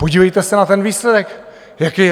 Podívejte se na ten výsledek, jaký je.